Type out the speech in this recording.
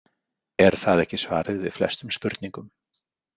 Er það ekki svarið við flestum spurningum?